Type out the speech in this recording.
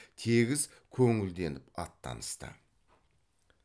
тегіс көңілденіп аттанысты